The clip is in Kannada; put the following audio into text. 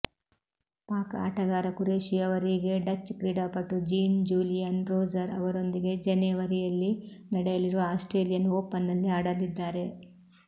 ಪಾಕ್ ಆಟಗಾರ ಖುರೇಷಿ ಅವರಿಗೆ ಡಚ್ ಕ್ರೀಡಾಪಟು ಜೀನ್ ಜೂಲಿಂುುನ್ ರೋಜರ್ ಅವರೊಂದಿಗೆ ಜನೆವರಿಂುುಲ್ಲಿ ನಡೆಂುುಲಿರುವ ಆಸ್ಟ್ರೇಲಿಂುುನ್ ಓಪನ್ನಲ್ಲಿ ಆಡಲಿದ್ದಾರೆ